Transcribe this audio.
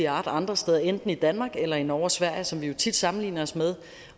art andre steder enten i danmark eller i norge og sverige som vi jo tit sammenligner os med